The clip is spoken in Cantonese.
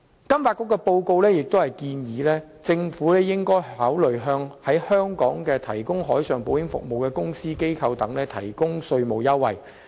金發局的報告建議，政府應考慮向在香港提供海上保險服務的公司/機構等提供稅務優惠。